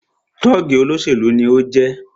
Tọ́ọ̀gì olóṣèlú ni o jẹ́